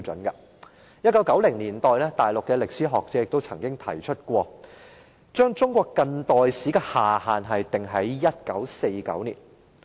1990年代，大陸歷史學者曾經提出把中國近代史的下限訂於1949年。